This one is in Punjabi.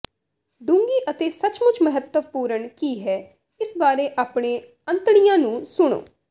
ਡੂੰਘੀ ਅਤੇ ਸੱਚਮੁੱਚ ਮਹੱਤਵਪੂਰਣ ਕੀ ਹੈ ਇਸ ਬਾਰੇ ਆਪਣੇ ਅੰਤੜੀਆਂ ਨੂੰ ਸੁਣੋ